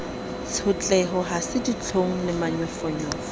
tshotleho ha se ditlhong lemanyofonyofo